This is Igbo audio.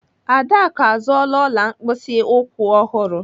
Adaku azụọla ọla mkpịsị ụkwụ ọhụrụ.